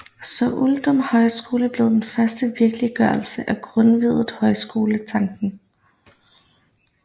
Så Uldum Højskole blev den første virkeliggørelse af Grundtvigs højskoletanke